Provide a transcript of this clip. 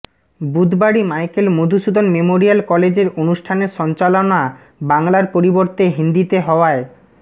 বুধবারই Michael Madhusudan memorial কলেজের অনুষ্ঠানের সঞ্চালনা বাংলার পরিবর্তে হিন্দিতে হওয়ায়